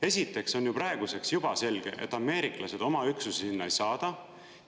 Esiteks on ju praeguseks juba selge, et ameeriklased oma üksusi sinna ei saada.